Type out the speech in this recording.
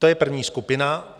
To je první skupina.